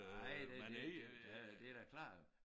Nej det da det det da klart